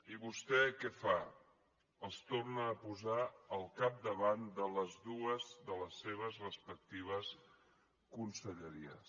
i vostè què fa els torna a posar al capdavant de les dues de les seves respectives conselleries